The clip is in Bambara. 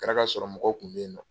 kɛra ka sɔrɔ mɔgɔw kun be yen nɔ.